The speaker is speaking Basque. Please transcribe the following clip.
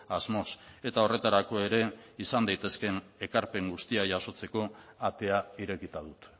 asmoz eta horretarako ere izan daitezkeen ekarpen guztiak jasotzeko atea irekita dut